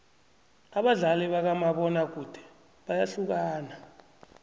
abadlali bakamabona kude bayahlukana